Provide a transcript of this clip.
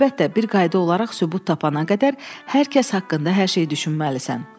Əlbəttə, bir qayda olaraq sübut tapana qədər hər kəs haqqında hər şeyi düşünməlisən.